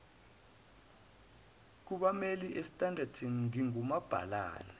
kubammeli esandton ngingumabhalane